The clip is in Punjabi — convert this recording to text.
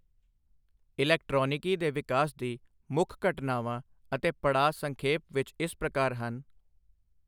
ਇਲੈਕਟਰਾਨਿਕੀ ਦੇ ਵਿਕਾਸ ਦੀ ਮੁੱਖਘਟਨਾਵਾਂ ਅਤੇ ਪੜਾਅ ਸੰਖੇਪ ਵਿੱਚ ਇਸ ਪ੍ਰਕਾਰ ਹਨ